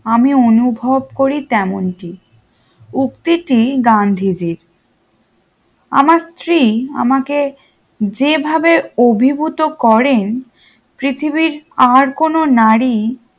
আমি অনুভব করি তেমনটি উক্তিটি গান্ধী জির আমার স্ত্রী আমাকে যে ভাবে অভিভূত করেন পৃথিবীর আর কোনো নারী